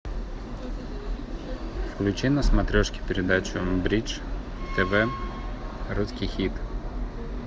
включи на смотрешке передачу бридж тв русский хит